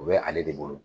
O bɛ ale de bolo